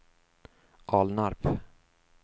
Alnarp